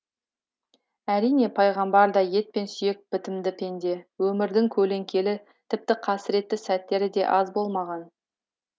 әрине пайғамбар да ет пен сүйек бітімді пенде өмірдің көлеңкелі тіпті қасіретті сәттері де аз болмаған